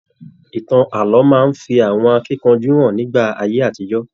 Ìtàn ààlọ́ máa n fí àwọn akínkanjú hàn nígbà ayé àtijọ.